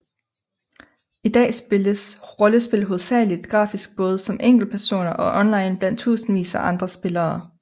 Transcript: I dag spilles rollespil hovedsageligt grafisk både som enkeltspiller og online blandt tusindvis af andre spillere